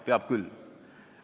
Peab küll.